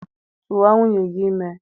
Tụwa nwunye gị ime!